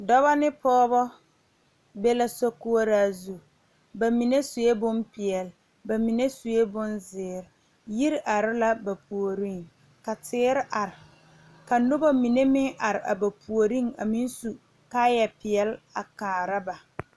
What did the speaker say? Dɔbɔ ne pɔɔbɔ be la so koɔraa zu ba mine suee bonpeɛle ba mine suee bonzeere yiri are la ba puoriŋ ka teere are ka nobɔ mine meŋ are a ba puoriŋ a meŋ su kaayɛ peɛle a kaara ba.